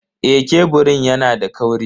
Eh, keburin yana da kauri.